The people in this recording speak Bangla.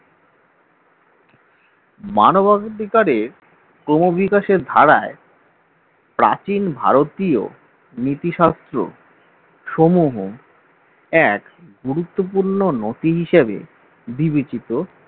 মানবাধিকারের ক্রমবিকাশের ধারায় প্রাচীন ভারতীয় নীতিশাস্ত্র সমূহ এক গুরুত্বপূর্ণ নতি হিসেবে বিবেচিত।